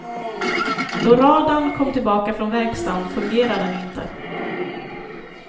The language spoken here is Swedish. Då radarn kom tillbaka från verkstaden fungerade den inte.